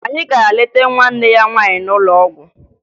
Anyị gara leta nwanne ya nwaanyị n'ụlọ ọgwụ